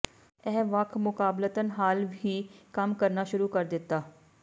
ਇਹ ਵੱਖ ਮੁਕਾਬਲਤਨ ਹਾਲ ਹੀ ਕੰਮ ਕਰਨਾ ਸ਼ੁਰੂ ਕਰ ਦਿੱਤਾ